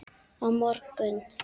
Á morgun.